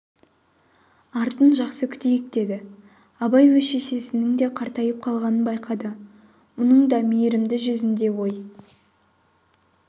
артын жақсы күтейік деді абай өз шешесінің де қартайып қалғанын байқады мұның да мейірімді жүзінде ой